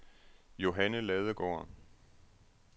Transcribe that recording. Johanne Ladegaard